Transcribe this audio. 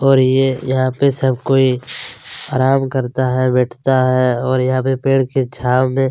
और ये यहाँ पे सब कोई आराम करता है बैठता है और यहाँ पे पेड की छाव में--